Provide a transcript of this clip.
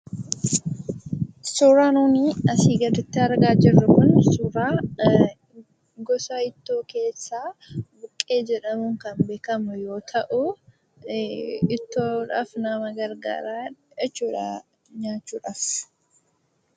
Suuraa nuti armaan olitti argaa jirru kun suuraa gosa ittoo keessaa buqqee jedhamuun kan beekamu yoo ta'u, ittoodhaaf nama gargaara jechuudha nyaachuudhaaf.